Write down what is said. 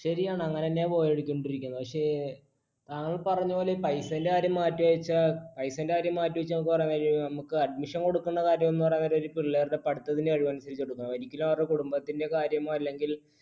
ശരിയാണ് അങ്ങനെ തന്നെയാണ് പോയിക്കൊണ്ടിരിക്കുന്നത് പക്ഷേ, താങ്കൾ പറഞ്ഞതുപോലെ paisa ന്റെ കാര്യം മാറ്റിവച്ചാൽ admission കൊടുക്കേണ്ട കാര്യം എന്നു പറയാൻ നേരം ഒരു പിള്ളാരുടെ പഠിത്തത്തിന്റെ കഴിവനുസരിച്ച് കൊടുക്കണം, ഒരിക്കലും അവരുടെ കുടുംബത്തിന്റെ കാര്യമോ അല്ലെങ്കിൽ